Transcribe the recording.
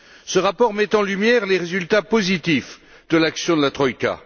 Ce rapport met en lumière les résultats positifs de l'action de la troïka.